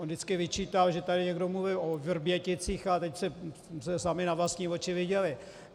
On vždycky vyčítal, že tady někdo mluvil o Vrběticích, a teď jste sami na vlastní oči viděli.